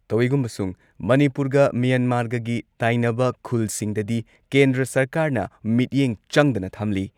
ꯇꯧꯏꯒꯨꯝꯕꯁꯨꯡ ꯃꯅꯤꯄꯨꯔꯒ ꯃ꯭ꯌꯥꯟꯃꯥꯔꯒꯒꯤ ꯇꯥꯏꯅꯕ ꯈꯨꯜꯁꯤꯡꯗꯗꯤ ꯀꯦꯟꯗ꯭ꯔ ꯁꯔꯀꯥꯔꯅ ꯃꯤꯠꯌꯦꯡ ꯆꯪꯗꯅ ꯊꯝꯂꯤ ꯫